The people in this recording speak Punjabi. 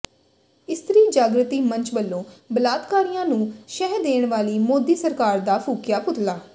ਇਸਤਰੀ ਜਾਗਿ੍ਤੀ ਮੰਚ ਵਲੋਂ ਬਲਾਤਕਾਰੀਆਂ ਨੂੰ ਸ਼ਹਿ ਦੇਣ ਵਾਲੀ ਮੋਦੀ ਸਰਕਾਰ ਦਾ ਫੂਕਿਆ ਪੁਤਲਾ